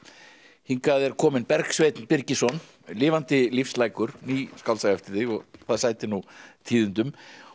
hingað er kominn Bergsveinn Birgisson lifandi ný skáldsaga eftir þig og það sætir nú tíðindum